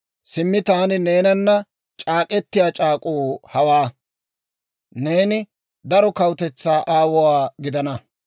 «Simmi, taani neenana c'aak'k'etiyaa c'aak'uu hawaa; neeni daro kawutetsaa aawuwaa gidana.